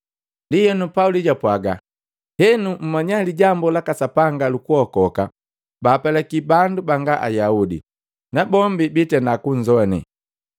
Ndienu Pauli japwaaga, “Henu mmanya lijambu laka Sapanga luku kuokoka bapelaki bandu banga Ayaudi. Na bombi bitenda kunzoane!”